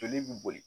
Joli bi boli